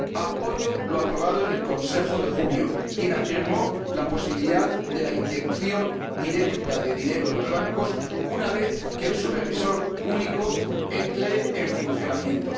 apoyo lo aprobado en el Consejo de junio, donde se afirmó la posibilidad de una inyección directa de dinero a los bancos una vez que el supervisor único entre en funcionamiento.